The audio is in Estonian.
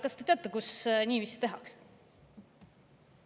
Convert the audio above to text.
Kas te teate, kus niiviisi tehakse?